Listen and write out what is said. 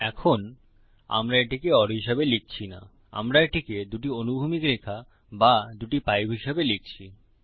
এখন আমরা এটিকে ওর হিসাবে লিখছি না আমরা এটিকে দুটি অনুভূমিক রেখা বা দুটি পাইপ হিসাবে লিখছি